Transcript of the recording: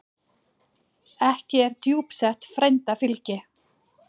Ekki er djúpsett frænda fylgi.